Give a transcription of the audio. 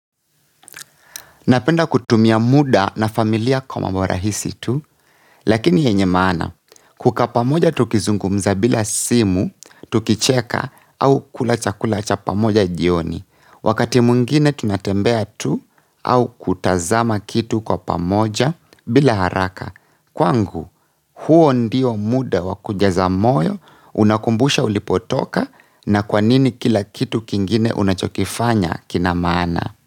Napenda kutumia muda na familia kwa mambo rahisi tu lakini yenye maana kukaa pamoja tukizungumza bila simu tukicheka au kula chakula cha pamoja jioni. Wakati wungine tunatembea tu au kutazama kitu kwa pamoja bila haraka. Kwangu huo ndio muda wa kujaza moyo, unakumbusha ulipotoka na kwanini kila kitu kingine unachokifanya kina maana.